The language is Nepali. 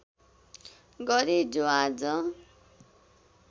गरे जो आज